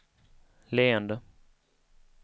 leende